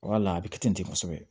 Wala a bɛ kɛ ten de kosɛbɛ